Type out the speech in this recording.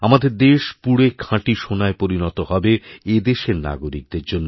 আমাদের দেশ পুড়েখাঁটি সোনায় পরিণত হবে এদেশের নাগরিকদের জন্য